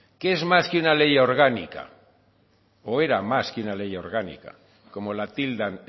que es más que una ley orgánica o era más que una ley orgánica como la tildan